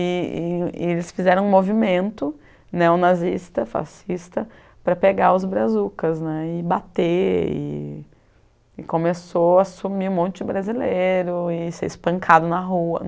E e e eles fizeram um movimento neonazista, fascista, para pegar os brazucas né, e bater, e começou a sumir um monte de brasileiro, e ser espancado na rua.